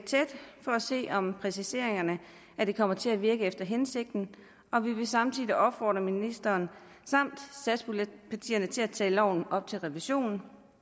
se om præciseringerne kommer til at virke efter hensigten og vi vil samtidig opfordre ministeren samt satspuljepartierne til at tage loven op til revision